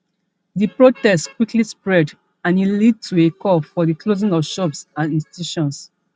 di protests quickly spread and e lead to a call for di closing of shops and institutions